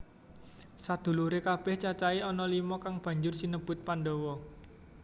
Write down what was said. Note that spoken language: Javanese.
Sedhuluré kabèh cacahé ana lima kang banjur sinebut Pandhawa